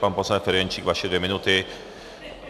Pan poslanec Ferjenčík, vaše dvě minuty.